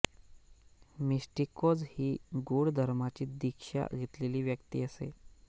मिस्टिकोज ही गूढ धर्माची दीक्षा घेतलेली व्यक्ती असे